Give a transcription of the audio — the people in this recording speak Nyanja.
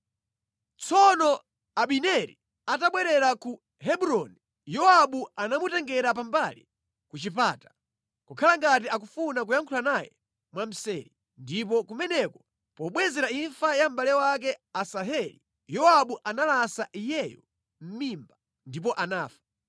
Tsono Abineri atabwerera ku Hebroni, Yowabu anamutengera pambali ku chipata, kukhala ngati akufuna kuyankhula naye mwamseri. Ndipo kumeneko pobwezera imfa ya mʼbale wake Asaheli, Yowabu analasa iyeyo mʼmimba, ndipo anafa.